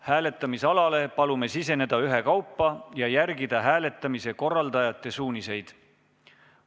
Hääletamisalale palume siseneda ühekaupa ja järgida hääletamise korraldajate suuniseid.